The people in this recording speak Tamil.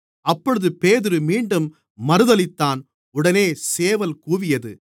அப்பொழுது பேதுரு மீண்டும் மறுதலித்தான் உடனே சேவல் கூவியது